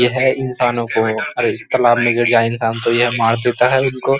यह इंसानों को और इस तालाब में गिर जाए इंसान तो यह मार देता है उनकों।